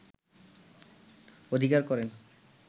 অধিকার করেন